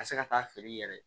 Ka se ka taa feere i yɛrɛ ye